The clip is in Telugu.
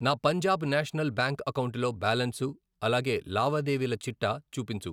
నా పంజాబ్ నేషనల్ బ్యాంక్ అకౌంటులో బ్యాలన్సు, అలాగే లావాదేవీల చిట్టా చూపించు.